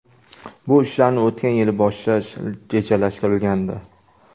Bu ishlarni o‘tgan yili boshlash rejalashtirilgandi.